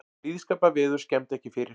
Blíðskaparveður skemmdi ekki fyrir